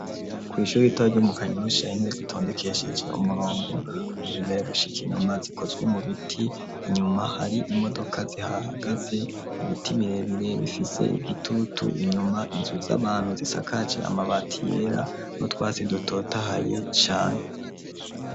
Kw'ishure ritoya ryo mu kanyosha intebe zitondekesheje umurongo kuva imbere gushika inyuma zikozwe mu biti, inyuma hari imodoka zihahagaze, ibiti birebire bifise igitutu, inyuma inzu z'abantu zisakaje amabati yera, n'utwatsi dutotahaye cane.